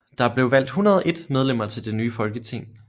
Der blev valgt 101 medlemmer til det nye folketing